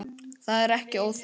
Það er ekki óþekkt.